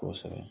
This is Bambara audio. Kosɛbɛ